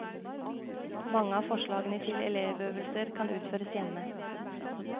Mange av forslagene til elevøvelser kan utføres hjemme.